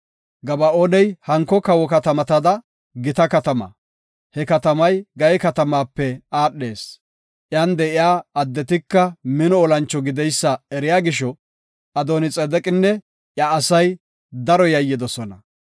Gaba7ooni hanko kawo katamatada gita katama; he katamay Gaye katamaape aadhees; iyan de7iya addetika mino olancho gideysa eriya gisho, Adooni-Xedeqinne iya asay daro yayyidosona.